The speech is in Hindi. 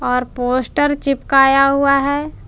और पोस्टर चिपकाया हुआ है।